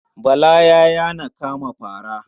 Bala ya yana kama fara.